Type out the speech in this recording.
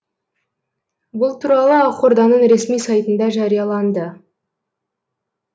бұл туралы ақорданың ресми сайтында жарияланды